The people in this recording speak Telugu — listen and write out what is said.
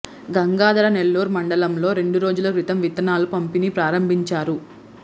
గంగాధర నెల్లూరు మండలంలో రెండు రోజుల క్రితం విత్తనాల పంపిణీ ప్రారంభించారు